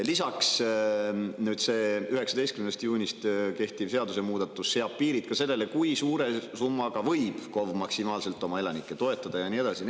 Lisaks, nüüd see 19. juunist kehtiv seadusmuudatus seab piirid sellele, kui suure summaga võib KOV maksimaalselt oma elanikke toetada, ja nii edasi.